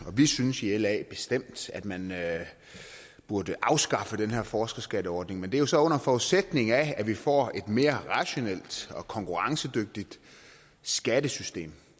vi synes i la bestemt at man burde afskaffe den her forskerskatteordning men det er jo så under forudsætning af at vi får et mere rationelt og konkurrencedygtigt skattesystem